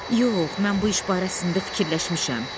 Yox, mən bu iş barəsində fikirləşmişəm.